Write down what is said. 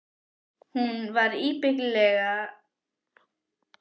Hún var ábyggilega að fara í gufubað og nudd.